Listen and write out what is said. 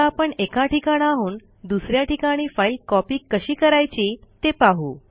आता आपण एका ठिकाणाहून दुस या ठिकाणी फाईल कॉपी कशी करायची ते पाहू